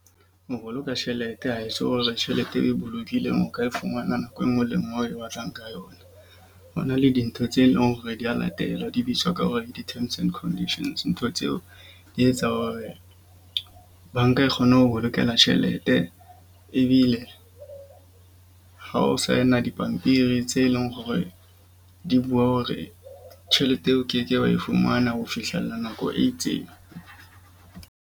Ho boloka tjhelete ha e so hore tjhelete e bolokileng o ka e fumana nako enngwe le enngwe o e batlang ka yona. Ho na le dintho tse leng hore dia latellwa di bitswa ka hore ke di-terms and conditions. Ntho tseo di etsa hore banka e kgone ho bolokela tjhelete. Ebile ha o sign-a dipampiri tse leng hore di bua hore tjhelete eo o ke ke wa e fumana ho fihlella nako e itseng.